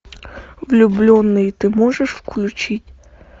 влюбленные ты можешь включить